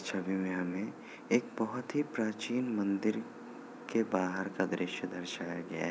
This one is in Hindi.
इस छवि में हमें एक बोहत ही प्राचीन मंदिर के बाहर का दृश्य दर्शाया गया है ।